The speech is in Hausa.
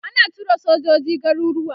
ana tura sojoji garuruwa